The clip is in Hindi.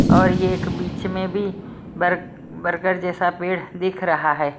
और यह एक बीच में भी बर बर्गर जैसा पेड़ दिख रहा है।